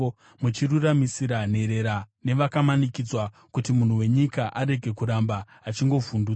muchiruramisira nherera nevakamanikidzwa, kuti munhu wenyika, arege kuramba achingovhundutsa.